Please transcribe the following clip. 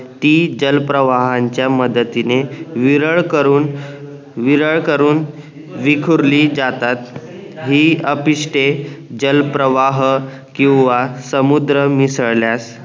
ती जलप्रवाहांच्या मदतीने विरळ करून विरळ करून विखुरली जातात हि अपिष्टे जलप्रवाह किंवा समुद्र मिसळल्यास